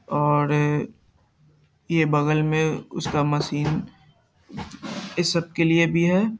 और ये ये बगल में उसका मशीन इस सब के लिए भी है।